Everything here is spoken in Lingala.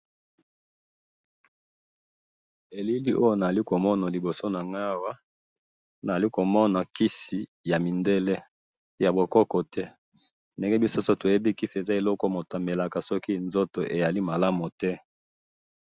Elili tozo mona awa, eza kisi ya mindele , ya bokoko te, tomelaka yango soki nzoto ezali malamu te .